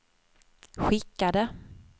skickade